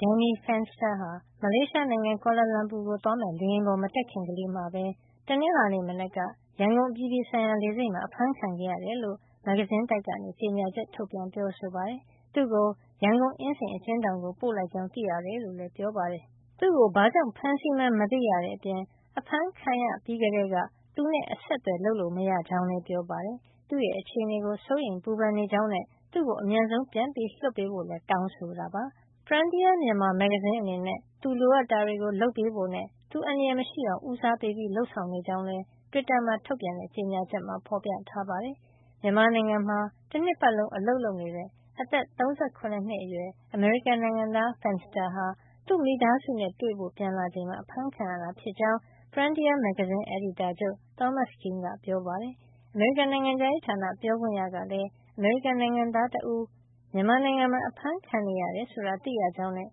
Danny Fenster ဟာ မလေးရှားနိုင်ငံ Kuala Lumpur ကို သွားမယ့် လေယာဉ်ပေါ် မတက်ခင်ကလေးမှာပဲ တနင်္လာနေ့ မနက်က ရန်ကုန်အပြည်ပြည်ဆိုင်ရာလေဆိပ်မှာ အဖမ်းခံခဲ့ရတယ်လို့ မဂ္ဂဇင်းတိုက်က ကြေညာချက် ထုတ်ပြန်ပြောဆိုပါတယ်။ သူ့ကို ရန်ကုန် အင်းစိန်အကျဉ်းထောင်ကို ပို့လိုက်ကြောင်း သိရတယ် လို့လည်း ပြောပါတယ်။ သူ့ကို ဘာကြောင့်ဖမ်းဆီးမှန်း မသိရတဲ့ အပြင် အဖမ်းခံရပြီးကတည်းက သူနဲ့ အဆက်အသွယ် လုပ်လို့မရကြောင်းလည်း ပြောပါတယ်။ သူ့အခြေနေကို စိုးရိမ်ပူပန် နေကြောင်းနဲ့ သူ့ကို အမြန်ဆုံး ပြန်လွှတ်ပေးဖို့လည်း တောင်းဆိုလိုက်ပါတယ်။ Frontier Myanmar မဂ္ဂဇင်း အနေနဲ့ သူလိုအပ်တာတွေကို လုပ်ပေးဖို့နဲ့သူအန္တရာယ် မရှိအောင် ဦးစားပေး လုပ်ဆောင်နေကြောင်းလည်း တွစ်တာမှာ ထုတ်ပြန်တဲ့ ကြေညာချက်မှာ ဖေါ်ပြထားပါတယ်။ မြန်မာနိုင်ငံထဲမှာ တနှစ်ပတ်လုံး အလုပ်လုပ်နေတဲ့ အသက် ၃၇ နှစ်အရွယ် အမေရိကန်နိုင်ငံသား Fenster ဟာ သူ့မိသားစုနဲ့ တွေ့ဖို့ ပြန်လာချိန်မှာ အဖမ်းခံရတာ ဖြစ်ကြောင်း Frontier မဂ္ဂဇင်းအယ်ဒီတာချုပ် Thomas Kean က ပြောပါတယ်။ အမေရိကန်နိုင်ငံခြားရေးဌာန ပြောခွင့်ရကလည်း အမေရိကန်နိုင်ငံသား တဦး မြန်မာနိုင်ငံမှာ အဖမ်းခံနေရတယ်လို့ သိရကြောင်းနဲ့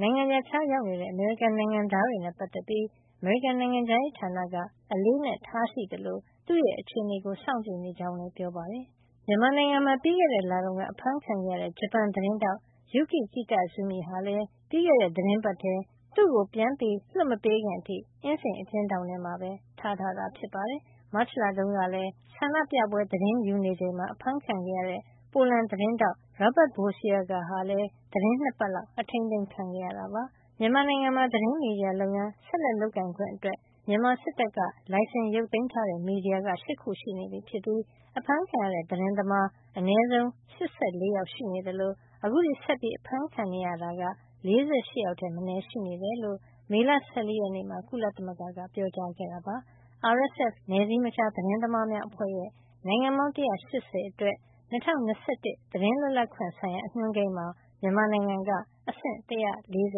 နိုင်ငံရပ်ခြားရောက်နေတဲ့ အမေရိကန်နိုင်ငံသားတွေနဲ့ ပတ်သက်ပြီး အမေရိကန်နိုင်ငံခြားရေးဌာနက အလေးအနက်ထားရှိသလို သူ့ရဲ့အခြေနေကို စောင့်ကြည့်နေကြောင်း ပြောပါတယ်။ မြန်မာနိုင်ငံမှာ ပြီးခဲ့တဲ့လတုန်းက အဖမ်းခံခဲ့ရတဲ့ ဂျပန်သတင်းထောက် Yuki Kitazumi ဟာလည်း ပြီးခဲ့တဲ့ သီတင်းပတ်ထဲ သူ့ပြန်လွှတ်မပေးခင်အထိ အင်းစိန်အကျဉ်းထောင်မှာပဲ ထားတာ ဖြစ်ပါတယ်။ မတ်လတုန်းကလည်း ဆန္ဒပြပွဲ သတင်းယူနေချိန်မှာ အဖမ်းခံခဲ့ရတဲ့ ပိုလန်သတင်းထောက် Robert Bociaga ဟာလည်း သီတင်း ၂ ပတ်လောက် အထိမ်းသိမ်းခံခဲ့ရတာပါ။ မြန်မာနိုင်ငံမှာ သတင်းမီဒီယာလုပ်ငန်း ဆက်လက်လုပ်ကိုင်ခွင့်အတွက် မြန်မာစစ်တပ်က လိုင်စင် ရုတ်သိမ်းထားတဲ့ မီဒီယာက ၈ ခုရှိနေပြီဖြစ်ပြီး အဖမ်းခံခဲ့ရတဲ့ သတင်းသမား အနည်းဆုံး ၈၄ ယောက် ရှိနေသလို အခုထိ ဆက်အဖမ်းခံနေရဆဲ က ၄၈ ယောက်ထက်မနည်း ရှိနေတယ်လို့ မေလ ၁၄ ရက်မှာ ကုလသမဂ္ဂက ပြောပါတယ်။ RSF နယ်စည်းမခြား သတင်းသမားများ အဖွဲ့ရဲ့ နိုင်ငံပေါင်း ၁၈၀ အတွက် ၂၀၂၁ သတင်းလွတ်လပ်ခွင့် အညွှန်းကိန်းမှာ မြန်မာနိုင်ငံက အဆင့် ၁၄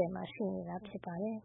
၀ မှာ ရှိနေတာဖြစ်ပါတယ်။